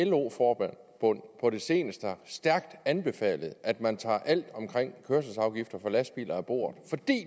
lo forbund på det seneste stærkt har anbefalet at man tager alt omkring kørselsafgifter for lastbiler af bordet